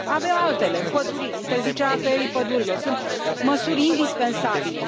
Avem altele împăduriri, interzicerea tăierii pădurilor sunt măsuri indispensabile.